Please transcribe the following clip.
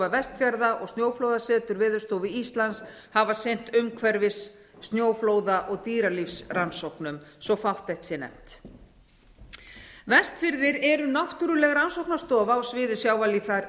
vestfjarða og snjóflóðasetur veðurstofu íslands hafa sinnt umhverfis snjóflóða og dýralífsrannsóknum svo að fátt eitt sé nefnt vestfirðir eru náttúruleg rannsóknastofa á sviði sjávarlíffræði